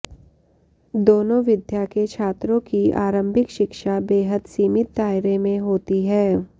दोनों विद्या के छात्रों की आरम्भिक शिक्षा बेहद सीमित दायरे में होती है